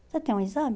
Você tem um exame?